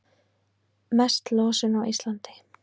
Mest losun á Íslandi